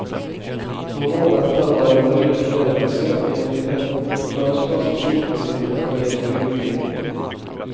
Noen år etter var rederiene mer interessert i å finne opplagsplass for skipene sine enn i å bygge nye.